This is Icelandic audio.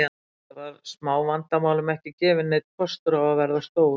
Enda var smávandamálum ekki gefinn neinn kostur á að verða stór.